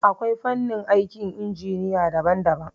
Akwai fanni aikin injiniya daban daban